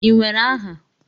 Ị nwere aha?